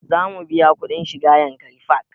Za mu biya kuɗin shiga yankari park